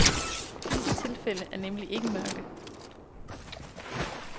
Disse tilfælde er nemlig ikke mørke.